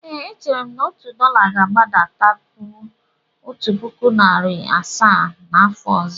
Ee, echere m na otu dọla ga-agbadataruo otu puku naịra asaa n'afọ ọzọ.